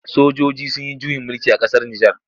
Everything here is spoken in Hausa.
Sojoji sun yi juyin mulki a ƙasar Nijar.